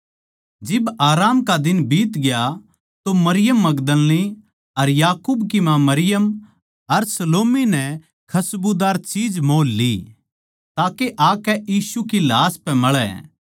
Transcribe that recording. जिब आराम का दिन बीतग्या तो मरियम मगदलीनी अर याकूब की माँ मरियम अर सलोमी नै खसबूदार चीज मोल ली ताके आकै यीशु की लाश पै मळै